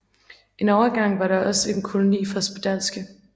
En overgang var der også en koloni for spedalske